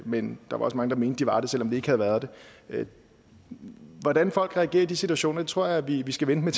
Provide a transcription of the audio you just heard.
men der var også mange der mente at de var det selv om de ikke havde været det hvordan folk reagerer i de situationer tror jeg vi skal vente